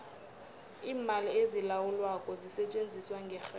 iimali ezilawulwako zisetjenziswa ngerherho